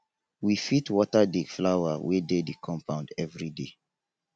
we fit water di flower wey dey di compound everyday